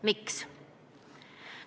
Miks?